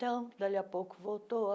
Dali a pouco voltou.